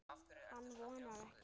Hann vonar ekki.